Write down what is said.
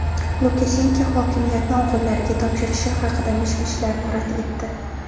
Lukashenko hokimiyatni o‘g‘illariga topshirishi haqidagi mish-mishlarni rad etdi.